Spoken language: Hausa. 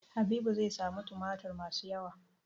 Habibu zai sami tumatir masu yawa.